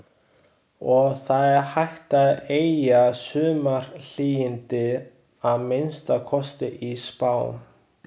Og það er hægt að eygja sumarhlýindi, að minnsta kosti í spám.